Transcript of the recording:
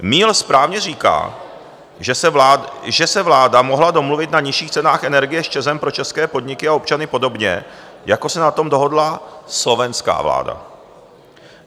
Míl správně říká, že se vláda mohla domluvit na nižších cenách energie s ČEZem pro české podniky a občany podobně, jako se na tom dohodla slovenská vláda.